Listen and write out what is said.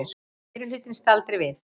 Meirihlutinn staldri við